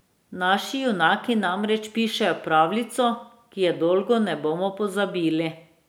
Naši junaki namreč pišejo pravljico, ki je dolgo ne bomo pozabili.